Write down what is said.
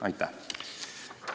Aitäh!